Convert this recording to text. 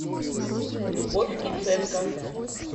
любовь киценко